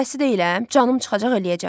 Dədəsi deyiləm, canım çıxacaq eləyəcəm.